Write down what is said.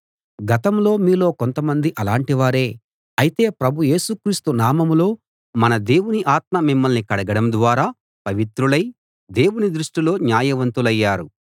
గతంలో మీలో కొంతమంది అలాటివారే అయితే ప్రభు యేసు క్రీస్తు నామంలో మన దేవుని ఆత్మ మిమ్మల్ని కడగడం ద్వారా పవిత్రులై దేవుని దృష్టిలో న్యాయవంతులయ్యారు